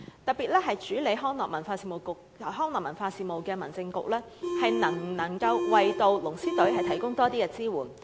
特別是主管康樂文化事務的民政事務局，能否為龍獅隊多提供多一些支援？